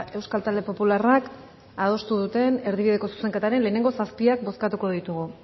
euskal talde popularrak adostu duten erdibideko zuzenketaren lehenengo zazpiak bozkatuko ditugu